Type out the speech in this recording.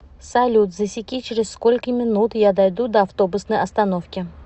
салют засеки через сколько минут я дойду до автобусной остановки